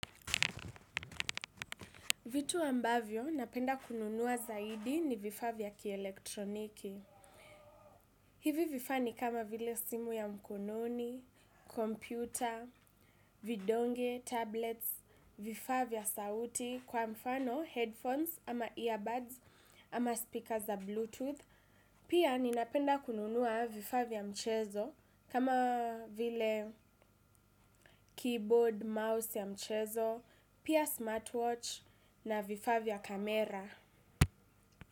Vitu ambavyo, napenda kununua zaidi ni vifaa vya kielektroniki. Hivi vifaa ni kama vile simu ya mkononi, kompyuta, vidonge, tablets, vifaa vya sauti, kwa mfano, headphones, ama earbuds, ama speaker za bluetooth. Pia, ninapenda kununua vifaa vya mchezo kama vile keyboard, mouse ya mchezo, pia smartwatch na vifaa vya kamera.